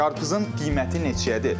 Qarpızın qiyməti neçəyədir?